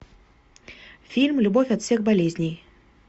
фильм любовь от всех болезней